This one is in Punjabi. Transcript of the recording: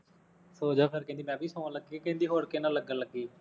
ਸੌ ਜਾਉ ਕਹਿੰਦੀ ਮੈਂ ਵੀ ਸੌਣ ਲੱਗੀ, ਕਹਿੰਦੀ ਹੋਰ ਕਿਹਦੇ ਨਾਲ ਲਗਨ ਲੱਗੀ